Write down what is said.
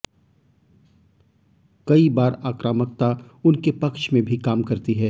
कई बार आक्रामकता उनके पक्ष में भी काम करती है